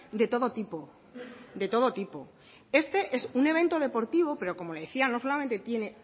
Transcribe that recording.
de todo tipo de todo tipo este es un evento deportivo pero como le decía no solamente tiene